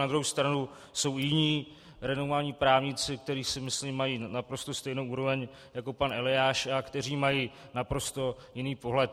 Na druhou stranu jsou jiní renomovaní právníci, kteří si myslím, mají naprosto stejnou úroveň jako pan Eliáš a kteří mají naprosto jiný pohled.